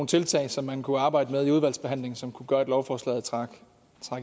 tiltag som man kunne arbejde med i udvalgsbehandlingen som kunne gøre at lovforslaget trak